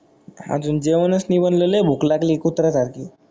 आजून जेवणच नाही बनल लय भूक लागली कुत्र्या सारखी.